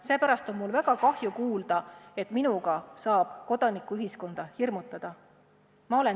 Seepärast on mul väga kahju kuulda, et minuga saab kodanikuühiskonda hirmutada.